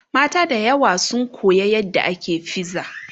mata da yawa sun Koya yadda ake fiza